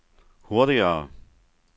hurtigere